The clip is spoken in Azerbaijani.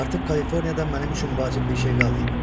Artıq Kaliforniyada mənim üçün vacib bir şey qalmayıb.